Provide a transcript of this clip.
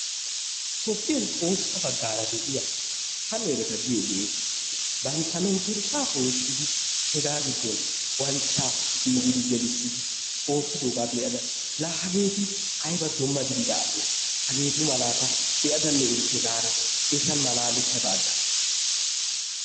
Tophiyan tohossa bagara de'iyaa, hammerettaa giyogetti banttaa mentershaa poshidi hegaa gidon manchchaa ciriddi gelissidi ottidoga be'addaa, la hagetti ayba dumma gidida asee hagetumala ta be'adanne erikke gada ettan malalettada agassi.